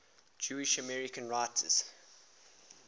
jewish american writers